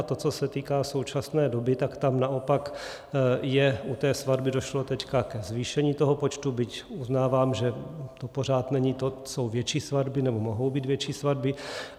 A to, co se týká současné doby, tak tam naopak je... u té svatby došlo teď ke zvýšení toho počtu, byť uznávám, že to pořád není to, jsou větší svatby, nebo mohou být větší svatby.